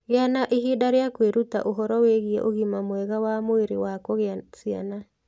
Gĩa na ihinda rĩa kwĩruta ũhoro wĩgiĩ ũgima mwega wa mwĩrĩ wa kugĩa ciana.